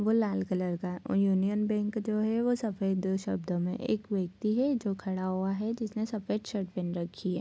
वो लाल कलर का है और यूनियन बैंक जो है वो सफ़ेद शब्दो में एक व्यक्ति है जो खड़ा हुआ है जिसने सफ़ेद शर्ट पहन रखी है।